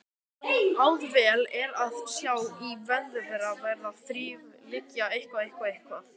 Auðvelt er að sjá í vefnaðarvöru hvernig þræðirnir liggja þvert hverjir á aðra.